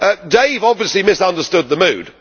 Dave obviously misunderstood the mood.